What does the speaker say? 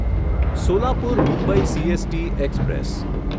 Solapur Mumbai CST express